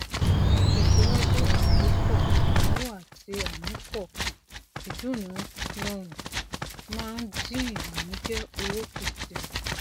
ìtẹsíwájú àkópọ ináwó àti amúpọ ìdúná rọrùn máa ń dín ìbànújẹ owó kù sí i